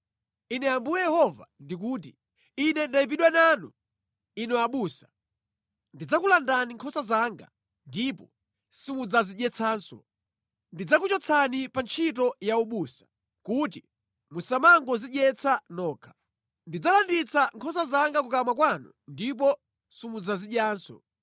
Ine Ambuye Yehova ndikuti: Ine ndayipidwa nanu, inu abusa. Ndidzakulandani nkhosa zanga ndipo simudzazidyetsanso. Ndidzakuchotsani pa ntchito ya ubusa kuti musamangodzidyetsa nokha. Ndidzalanditsa nkhosa zanga kukamwa kwanu ndipo simudzazidyanso.